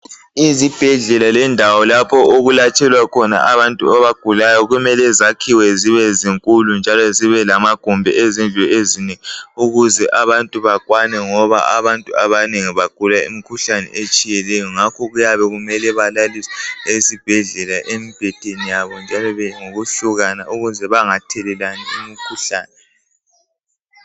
Izibhedlela lendawo lapho okwelatshelwa khona abantu abagulayo kumele zakhiwe zibe zinkulu njalo zibelamagumbi ezindlu ezinengi ukuze abantu bakwane ngoba abantu abanengi bagula imikhuhlane etshiyeneyo ngakho kuyabe kumele balaliswe esibhedlela emibhedeni yabo njalo ngokuhlukana ukuze bengathelelani imikhuhlane.